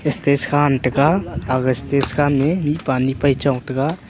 stage kha taiga aga stage kam ya mihpa ane cho taiga.